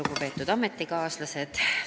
Lugupeetud ametikaaslased!